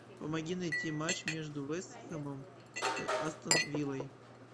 помоги найти матч между вест хэмом и астон виллой